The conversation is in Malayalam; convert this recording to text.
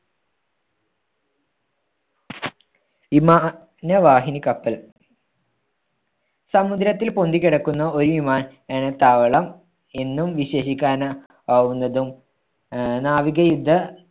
വിമാ~നവാഹിനി കപ്പൽ. സമുദ്രത്തിൽ പൊന്തിക്കിടക്കുന്ന ഒരു വിമാനത്താവളം എന്നും വിശേഷിക്കാനാ ആകുന്നതും ആഹ് നാവിക യുദ്ധ